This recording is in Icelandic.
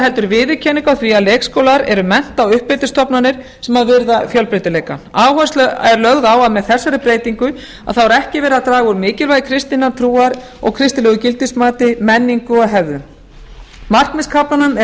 heldur viðurkenningu á því að leikskólar eru mennta og uppeldisstofnanir sem virða fjölbreytileika áhersla er lögð á að með þessari breytingu er ekki verið að draga úr mikilvægi kristinnar trúar og kristilegu gildismati menningu og hefðum markmiðskaflanum er